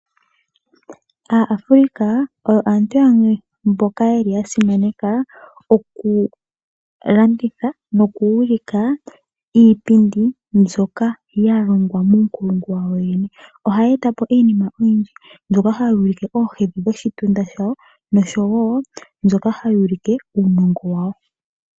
Aa Africa oyo aantu yamwe mboka yeli ya simaneka oku landitha, noku ulika iipindi mbyoka ya longwa muunkulungu wawo yene. Ohaya eta po iinima oyindji, myoka hayi ulike oohedhi dhoshitunda shawo, nosho wo mbyoka hayi ulike uunongo wawo.